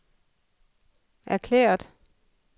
erklæret